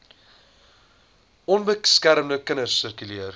onbeskermde kinders sirkuleer